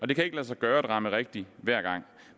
det kan ikke lade sig gøre at ramme rigtigt hver gang